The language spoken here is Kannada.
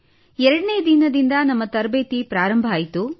ಎರಡನೇ ದಿನದಿಂದ ನಮ್ಮ ತರಬೇತಿ ಆರಂಭವಾಯಿತು